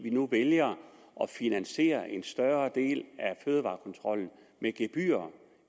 vi nu vælger at finansiere en større del af fødevarekontrollen med gebyrer